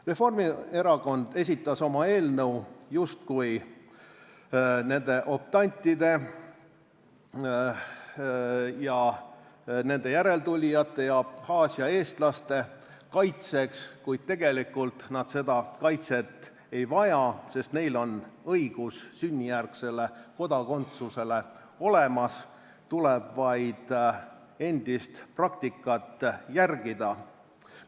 Reformierakond esitas oma eelnõu justkui nende optantide ja nende järeltulijate ja Abhaasia eestlaste kaitseks, kuid tegelikult nad seda kaitset ei vaja, sest neil on õigus sünnijärgsele kodakondsusele olemas, tuleb vaid endist praktikat järgida.